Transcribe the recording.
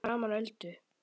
Fyrir framan Öldu.